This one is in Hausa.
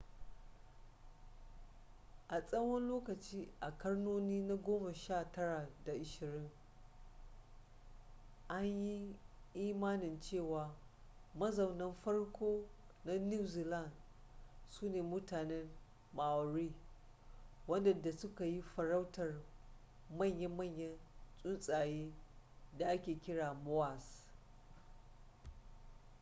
a tsawon lokaci a karnoni na goma sha tara da ashirin an yi imanin cewa mazaunan farko na new zealand su ne mutanen maori waɗanda suka yi farautar manya-manyan tsuntsaye da ake kira moas